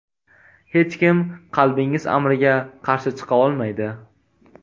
Hech kim qalbingiz amriga qarshi chiqa olmaydi.